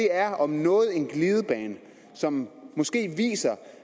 er om noget en glidebane som måske viser